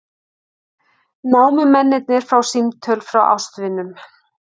Námumennirnir fá símtöl frá ástvinum